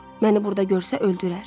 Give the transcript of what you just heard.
Məni burda görsə öldürər.